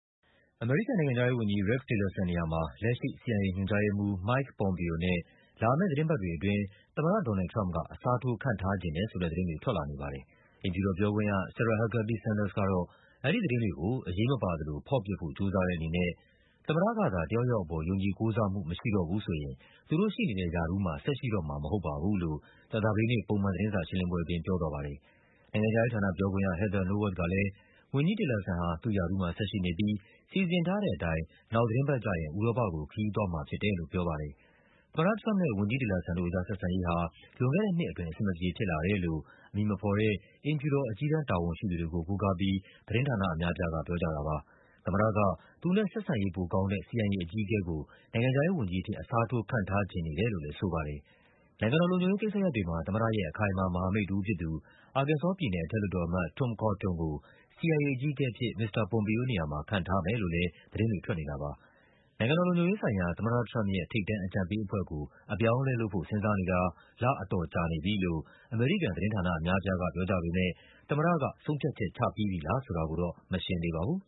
အမေရိကန်နိုင်ငံခြားရေးဝန်ကြီး Rex Tillerson နေရာမှာ လက်ရှိ CIA ညွှန်ကြားရေးမှူး Mike Pompeo နဲ့ လာမယ့်သီတင်းပတ် တွေအတွင်း သမ္မတDonald Trump က အစားထိုး ခန့်ထားချင်တယ်ဆိုတဲ့သတင်းတွေ ထွက်လာနေပါတယ်။ အိမ်ဖြူတော်ပြောခွင့်ရ Sarah Huckabee Sanders က အဲဒီသတင်းတွေကို အရေးမပါသလို ဖော့ပစ်ဖို့ ကြိုးစားတဲ့အနေနဲ့ သမ္မတကသာ တယောက်ယောက်အပေါ် ယုံကြည်ကိုးစားမှု မရှိတော့ဘူးဆိုရင် သူတို့ရှိနေတဲ့ရာထူးမှာ ဆက်ရှိတော့မှာမဟုတ်ပါ ဘူးလို့ ကြာသပတေးနေ့ ပုံမှန်သတင်းစာရှင်းလင်းပွဲအတွင်း ပြောသွားပါတယ်။ နိုင်ငံခြားရေးဌာနပြောခွင့်ရ Heather Nauert ကလဲ ဝန်ကြီး Tillerson ဟာ သူ့ရာထူးမှာဆက်ရှိနေပြီး စီစဉ်ထားတဲ့အတိုင်း နောက်သီတင်းပတ်ကျရင် ဥရောပကို ခရီးသွားမှာ ဖြစ်တယ်လို့ ပြောပါတယ်။ သမ္မတထရမ့်ပ်နဲ့ ဝန်ကြီး Tillerson တို့အကြား ဆက်ဆံရေးဟာ လွန်ခဲ့တဲ့နှစ်အတွင်း အဆင်မပြေဖြစ်လာတယ်လို့ အမည်မဖော် တဲ့ အိမ်ဖြူတော် အကြီးတန်းတာဝန်ရှိသူတွေကို ကိုးကားပြီး သတင်းဌာနအများအပြားက ပြောကြပါတယ်။ သမ္မတက သူနဲ့ ဆက်ဆံရေးပိုကောင်းတဲ့ CIA အကြီးအကဲကို နိုင်ငံခြားရေးဝန်ကြီးအဖြစ် အစားထိုး ခန့်ထားချင်နေတယ်လို့လဲ ဆိုပါတယ်။ နိုင်ငံတော်လုံခြုံရေးကိစ္စရပ်တွေမှာ သမ္မတရဲ့ အခိုင်အမာ မဟာမိတ်တဦးဖြစ်သူ အာကင်ဆောပြည်နယ် အထက်လွှတ်တော် အမတ် Tom Cotton ကို CIA အကြီးအကဲအဖြစ် မစ္စတာ Pompeo နေရာမှာ ခန့်ထားမယ်လို့လဲ သတင်းတွေ ထွက်နေတာပါ။ နိုင်ငံတော်လုံခြုံရေးဆိုင်ရာ သမ္မတထရမ့်ပ်ရဲ့ ထိပ်တန်းအကြံပေးအဖွဲ့ကို အပြောင်းအလဲ လုပ်ဖို့ စဉ်းစားနေတာ လအတော်ကြာ နေပြီလို့ အမေရိကန်သတင်းဌာနအများအပြားက ပြောကြပေမဲ့ သမ္မတက ဆုံးဖြတ်ချက် ချပြီးပြီလားဆိုတာတော့ မရှင်းသေးပါဘူး